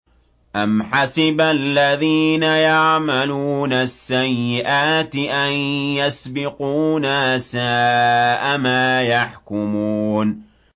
أَمْ حَسِبَ الَّذِينَ يَعْمَلُونَ السَّيِّئَاتِ أَن يَسْبِقُونَا ۚ سَاءَ مَا يَحْكُمُونَ